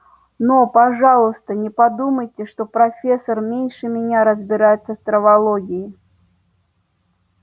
но пожалуйста не подумайте что профессор меньше меня разбирается в травологии